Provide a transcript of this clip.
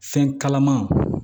Fɛn kalaman